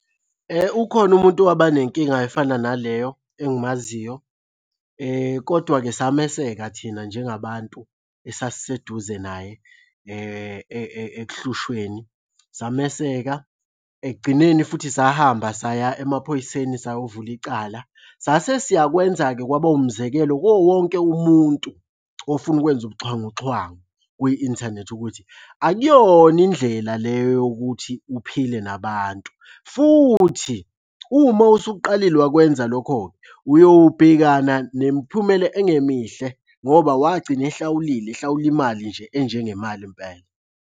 Ukhona umuntu owaba nenkinga efana naleyo engimaziyo, kodwa-ke sameseka thina njengabantu esasiseduze naye ekuhlushweni. Sameseka, ekugcineni futhi sahamba saya emaphoyiseni sayovula icala. Sasesiyakwenza-ke kwaba umzekelo kuwo wonke umuntu ofuna ukwenza ubuxhwanguxhwangu kwi-inthanethi ukuthi akuyona indlela le yokuthi uphile nabantu, futhi uma usuqalile wakwenza lokho-ke, uyobhekana nemiphumela engemihle ngoba wagcina ehlawulile ehlawula imali nje enjengemali impela.